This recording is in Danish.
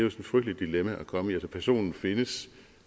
et frygteligt dilemma at komme i personen findes